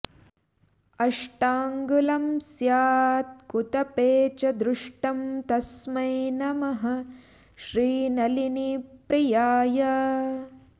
अष्टाङ्गुलं स्यात् कुतपे च दृष्टं तस्मै नमः श्रीनलिनीप्रियाय